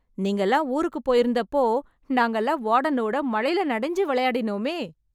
நீங்கல்லாம் ஊருக்கு போயிருந்தப்போ, நாங்கல்லாம் வார்டனோட மழைல நனைஞ்சு விளையாடினோமே...